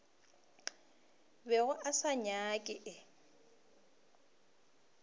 bego a se nyaka e